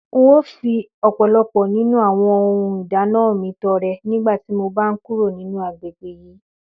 N óò fi ò̩pò̩lo̩pò̩ nínú àwo̩n ohun ìdáná mi to̩re̩ nígbà tí mo bá ń kúrò ní agbegbe yìí